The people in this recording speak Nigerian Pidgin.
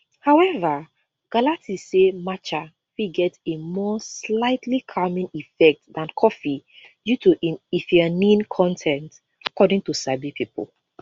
however galati say matcha fit get a more slightly calming effect dan coffee due to im ltheanine con ten t according to sabi pipo